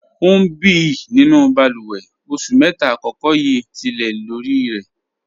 Ọ n bí nínú bálúwè, ọṣù mẹ́ta àkọ̀kọ̀ yíí tì lẹ̀ lorì rẹ̀.